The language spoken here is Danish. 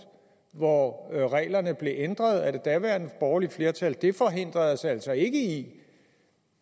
hvor reglerne blev ændret af det daværende borgerlige flertal det forhindrede os altså ikke i